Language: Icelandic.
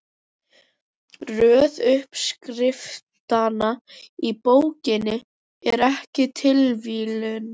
Röð uppskriftanna í bókinni er ekki tilviljun.